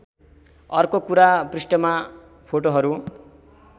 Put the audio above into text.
अर्को कुरा पृष्ठमा फोटोहरू